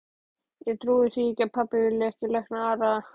Ég trúi því ekki að pabbi vilji ekki lækna Arnar.